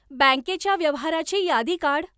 बँकेच्या व्यवहाराची यादी काढ.